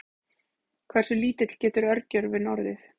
hversu lítill getur örgjörvinn orðið